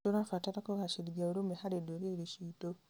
Tũrabatara kũgacĩrithia ũrũmwe harĩ ndũrĩrĩ ciitũ.